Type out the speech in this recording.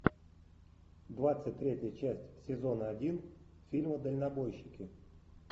двадцать третья часть сезона один фильма дальнобойщики